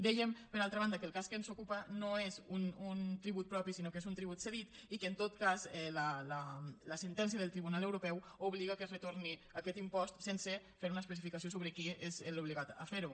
dèiem per altra banda que el cas que ens ocupa no és un tribut propi sinó que és un tribut cedit i que en tot cas la sentència del tribunal europeu obliga que es retorni aquest impost sense fer una especificació sobre qui és l’obligat a fer ho